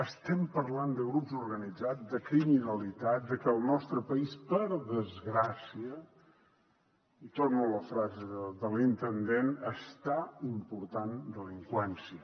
estem parlant de grups organitzats de criminalitat de que el nostre país per desgràcia i torno a la frase de l’intendent està important delinqüència